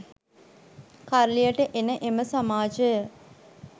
කරලියට එන එම සමාජය